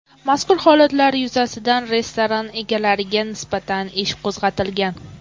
Mazkur holatlar yuzasidan restoran egalariga nisbatan ish qo‘zg‘atilgan.